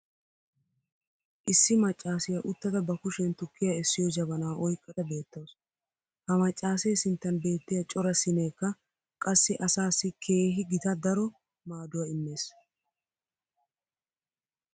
Issi maccaassiya uttada ba kushiyan tukkiya essiyo jabanaa oyqqada beetawusu. Ha maccaasee sinttan beettiya cora siineekka qassi asaassi keehi gita daro maaduwa immees.